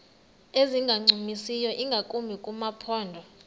ezingancumisiyo ingakumbi kumaphondo